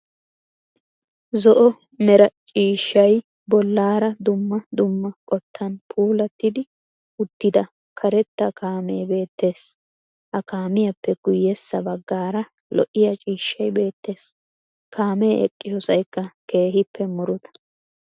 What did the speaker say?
Zo'o meera cishshay bollara dumma dumma qottan puulattidi uttida karetta kaame beettes. Ha kaamiyappe guyessa baggara lo'iyaa ciishshay beettes. Kaame eqqossaykka keehippe murutta.